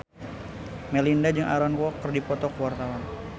Melinda jeung Aaron Kwok keur dipoto ku wartawan